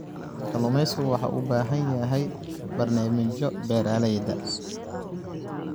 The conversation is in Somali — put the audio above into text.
Kalluumaysigu waxa uu u baahan yahay barnaamijyo beeralayda.